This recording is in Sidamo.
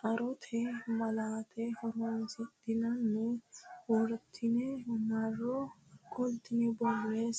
xarote malaate horonsidhine wortine marro qoltine borreesse.